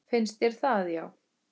Finnst þér það já.